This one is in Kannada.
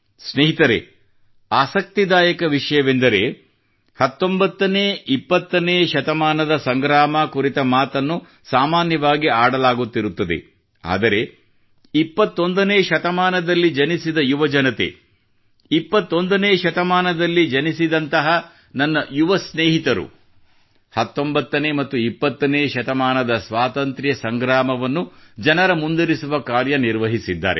ಸ್ನೇಹಿತರೇ ಆಸಕ್ತಿದಾಯಕ ವಿಷಯವೆಂದರೆ 19ನೇ 20 ನೇ ಶತಮಾನದ ಸಂಗ್ರಾಮ ಕುರಿತ ಮಾತನ್ನು ಸಾಮಾನ್ಯವಾಗಿ ಆಡಲಾಗುತ್ತಿರುತ್ತದೆ ಆದರೆ 21 ನೇ ಶತಮಾನದಲ್ಲಿ ಜನಿಸಿದ ಯುವಜನತೆ 21 ನೇ ಶತಮಾನದಲ್ಲಿ ಜನಿಸಿದಂತಹ ನನ್ನ ಯುವ ಸ್ನೇಹಿತರು 19ನೇ ಮತ್ತು 20ನೇ ಶತಮಾನದ ಸ್ವಾತಂತ್ರ್ಯ ಸಂಗ್ರಾಮವನ್ನು ಜನರ ಮುಂದಿರಿಸುವ ಕಾರ್ಯ ನಿರ್ವಹಿಸಿದ್ದಾರೆ